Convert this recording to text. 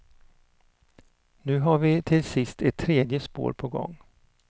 Nu har vi till sist ett tredje spår på gång.